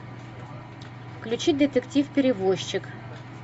включи детектив перевозчик